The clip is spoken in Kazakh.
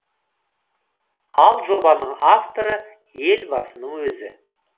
ал жобаның авторы елбасының өзі